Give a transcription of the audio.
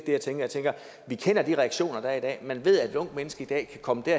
jeg tænker jeg tænker at vi kender de reaktioner der er i dag man ved at unge mennesker i dag kan komme i